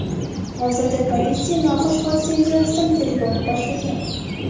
Hozirda politsiya noxush hodisa yuzasidan tergovni boshlagan.